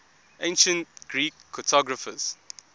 ancient greek cartographers